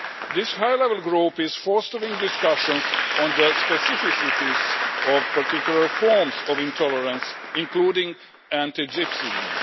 This high level group is fostering discussions on the specificities of particular forms of intolerance, including anti Gypsyism.